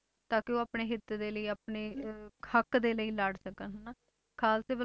ਤਾਂ ਕਿ ਉਹ ਆਪਣੇ ਹਿੱਤ ਦੇ ਲਈ ਆਪਣੇ ਅਹ ਹੱਕ ਦੇ ਲਈ ਲੜ ਸਕਣ ਹਨਾ, ਖਾਲਸੇ